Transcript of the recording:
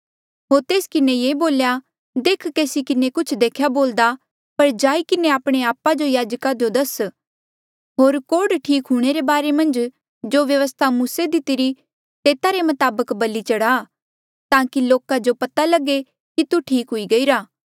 होर तेस किन्हें ये बोल्या देख केसी किन्हें कुछ देख्या बोल्दा पर जाई किन्हें आपणे आपा जो याजका जो दस होर कोढ़ ठीक हूंणे रे बारे मन्झ जो व्यवस्था मूसे दितिरी तेता रे मताबक बलि चढ़ा ताकि लोका जो पता लगे कि तू ठीक हुई गईरा